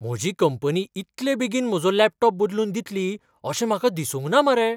म्हजी कंपनी इतले बेगीन म्हजो लॅपटॉप बदलून दितली अशें म्हाका दिसूंक ना मरे!